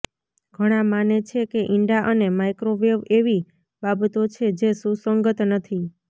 ઘણા માને છે કે ઇંડા અને માઇક્રોવેવ એવી બાબતો છે જે સુસંગત નથી